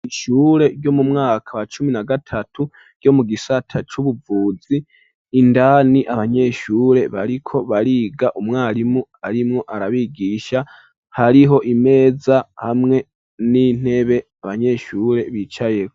Ishure ryo mu mwaka wa cumi na gatatu ryo mu gisata c'ubuvuzi ,indani abanyeshure bariko bariga umwarimu arimwo arabigisha ,hariho imeza hamwe n'intebe abanyeshure bicayeho.